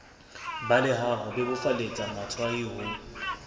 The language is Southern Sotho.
balehang ho bebofaletsa motshwai ho